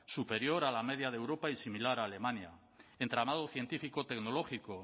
superior a la media de europa y similar a alemania entramado científico tecnológico